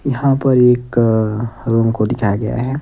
यहां पर एक रोम को दिखाया गया है।